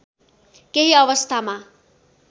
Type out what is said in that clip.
केही अवस्थामा